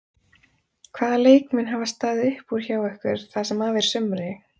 Hvaða leikmenn hafa staðið upp úr hjá ykkur það sem af er sumri?